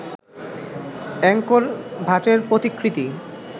Angkor ভাটের প্রতিকৃতি